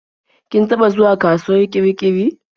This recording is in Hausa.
Kin taɓa zuwa kasuwar Kirikiri?